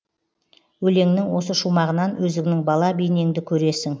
өлеңнің осы шумағынан өзіңнің бала бейнеңді көресің